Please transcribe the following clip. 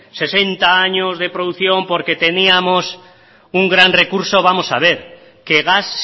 sesenta años de producción porque teníamos un gran recurso vamos a ver que gas